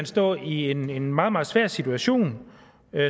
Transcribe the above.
stå i en meget meget svær situation